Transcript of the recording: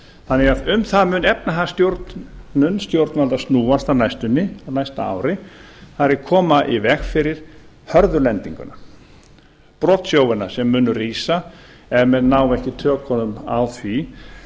þannig að um það mun efnahagsstjórn stjórnvalda snúast á næstunni á næsta ári það er að koma í veg fyrir hörðu lendinguna brotsjóina sem munu rísa ef menn ná ekki tökum á því